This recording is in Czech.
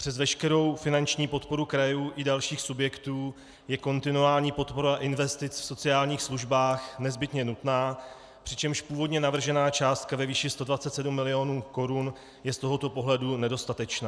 Přes veškerou finanční podporu krajů i dalších subjektů je kontinuální podpora investic v sociálních službách nezbytně nutná, přičemž původně navržená částka ve výši 127 milionů korun je z tohoto pohledu nedostatečná.